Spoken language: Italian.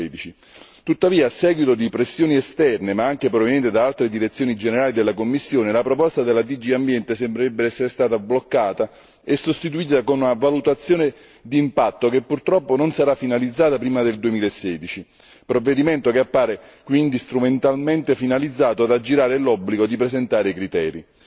2013. Tuttavia, a seguito di pressioni esterne ma anche provenienti da altre direzioni generali della Commissione, la proposta della DG Ambiente sembrerebbe essere stata bloccata e sostituita da una valutazione d'impatto, che purtroppo non sarà finalizzata prima del 2016, provvedimento che appare quindi strumentalmente finalizzato ad aggirare l'obbligo di presentare i criteri.